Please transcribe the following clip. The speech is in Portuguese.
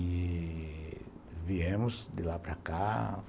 E viemos de lá para cá.